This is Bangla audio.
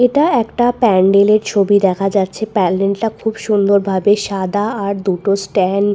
এটা একটা প্যান্ডেলের ছবি দেখা যাচ্ছে প্যান্ডেলটা খুব সুন্দর ভাবে সাদা আর দুটো স্ট্যান--